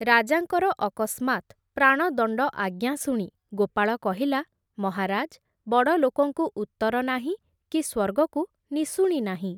ରାଜାଙ୍କର ଅକସ୍ମାତ୍ ପ୍ରାଣ ଦଣ୍ଡ ଆଜ୍ଞା ଶୁଣି ଗୋପାଳ କହିଲା, ମହାରାଜ୍ ବଡ଼ ଲୋକଙ୍କୁ ଉତ୍ତର ନାହିଁ କି ସ୍ୱର୍ଗକୁ ନିଶୁଣି ନାହିଁ ।